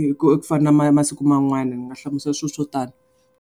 hi ku fana na masiku man'wana. Ni nga hlamusela swilo swo tala.